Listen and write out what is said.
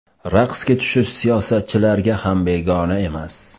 Raqsga tushish siyosatchilarga ham begona emas.